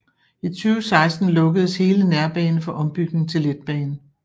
I 2016 lukkedes hele nærbane for ombygning til letbane